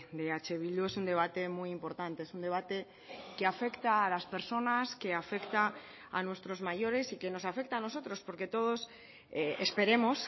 de eh bildu es un debate muy importante es un debate que afecta a las personas que afecta a nuestros mayores y que nos afecta a nosotros porque todos esperemos